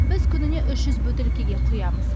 біз күніне үш жүз бөтелкеге құямыз